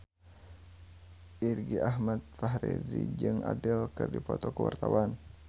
Irgi Ahmad Fahrezi jeung Adele keur dipoto ku wartawan